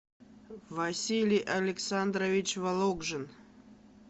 василий александрович вологжин